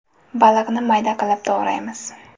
Baliqni mayda qilib to‘g‘raymiz.